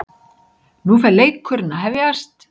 Nú er fer leikurinn að hefjast